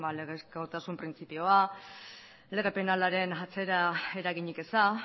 legezkotasun printzipioa lege penalaren atzera eraginik eza